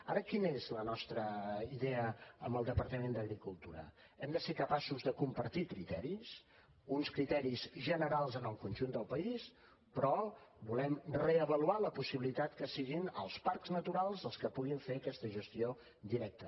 ara quina és la nostra idea amb el departament d’agricultura hem de ser capaços de compartir criteris uns criteris generals en el conjunt del país però volem reavaluar la possibilitat que siguin els parcs naturals els que puguin fer aquesta gestió directa